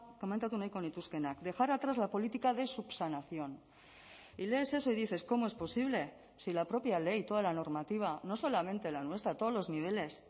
komentatu nahiko nituzkeenak dejar atrás la política de subsanación y lees eso y dices cómo es posible si la propia ley toda la normativa no solamente la nuestra todos los niveles